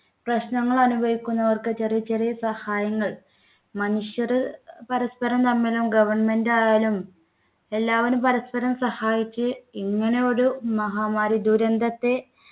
പ്രശ്നങ്ങൾ അനുഭവിക്കുന്നവർക്ക് ചെറിയ ചെറിയ സഹായങ്ങൾ മനുഷ്യർ പരസ്പരം തമ്മിലും government ആയാലും എല്ലാവരും പരസ്പരം സഹായിച്ച് ഇങ്ങനെ ഒരു മഹാമാരി ദുരന്തത്തെ